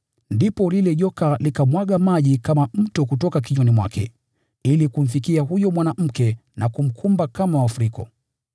Ndipo lile joka likamwaga maji kama mto kutoka kinywani mwake, ili kumfikia huyo mwanamke na kumkumba kama mafuriko.